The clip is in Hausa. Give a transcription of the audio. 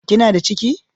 Kina da ciki?